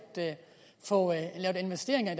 få lavet investeringer i